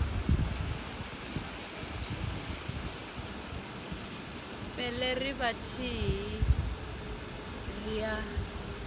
pele ri vhathihi ri a